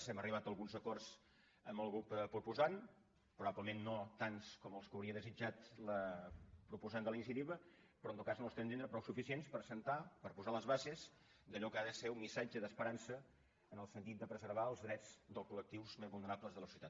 hem arribat a alguns acords amb el grup proposant probablement no tants com els que hauria desitjat la proposant de la iniciativa però en tot cas al nostre entendre prou suficients per posar les bases d’allò que ha de ser un missatge d’esperança en el sentit de preservar els drets dels col·lectius més vulnerables de la societat